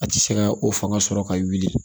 A tɛ se ka o fanga sɔrɔ ka wuli